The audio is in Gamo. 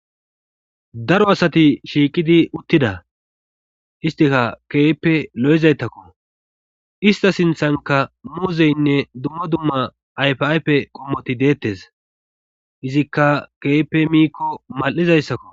daro asati shiiqidi uttida istika keeyppe lo7izaytakko ista sinthanka muuzeynne dumma dumma ayfaype qommoti deettes izikka keepe miikko mal7izayssakko